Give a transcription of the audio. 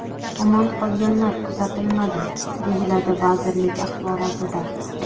Omon qolganlar kuzatilmadi”, deyiladi vazirlik axborotida.